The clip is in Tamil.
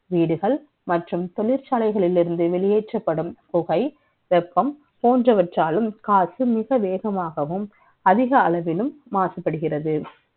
வீடுகள் மற்றும் தொழிற்சாலையில் இருந்து வெளியேற்றப்படும் புகை வெப்பம் போன்றவற்றாலும் காற்று மிக வேகமாகவும் அதிக அளவிலும் மாசுபடுகிறது